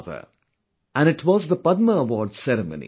And the ceremony was the Padma Awards distribution